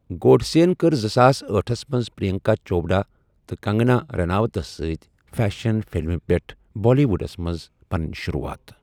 گوڈسے کٔر زٕساس أٹہس منٛز پِرٛینٛکا چوپڑا تہٕ کنٛگنا رَناوتس سۭتۍ فیشن فِلمہِ پیٚٹھٕ بالی وُڈٕس منز پنٛنۍ شُروٗعات۔